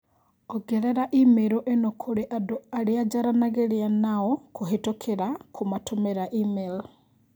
ongerera i-mīrū ĩno kũrĩ andũ arĩa jaranagĩria nao kuhitũkira kumatũmra emaĩl